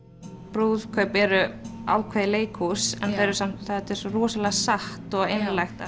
brúðkaup eru ákveðið leikhús en þau eru samt þetta er svo rosalega satt og einlægt að